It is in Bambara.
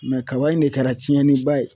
kaba in de kɛra cɛnni ba ye